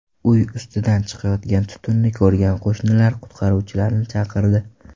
Uy ustidan chiqayotgan tutunni ko‘rgan qo‘shnilar qutqaruvchilarni chaqirdi.